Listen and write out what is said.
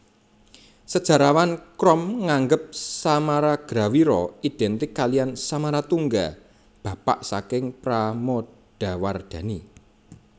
Sejarawan Krom nganggep Samaragrawira identik kaliyan Samaratungga bapak saking Pramodawardhani